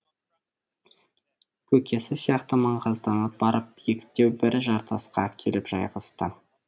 көкесі сияқты маңғазданып барып биіктеу бір жартасқа келіп жайғасты